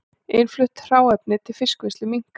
Innflutt hráefni til fiskvinnslu minnkar